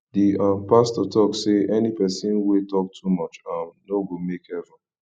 the um pastor talk say any person wey talk too much um no go make heaven